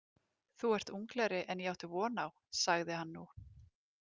Þú ert unglegri en ég átti von á, sagði hann nú.